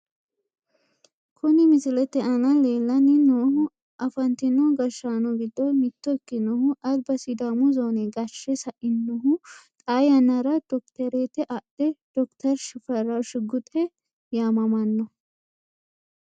Kuni misilete aana lellanni noohu afantino gashshaano giddo mitto ikkinohu alba sidaamu zoone gashshe sainohu, xaa yannara dokitereete adhe dokiteri shifarra shigguxe yaamamanno.